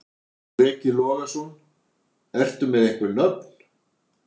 Breki Logason: Ertu með einhver nöfn?